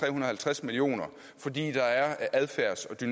og halvtreds million kr fordi der er adfærdseffekter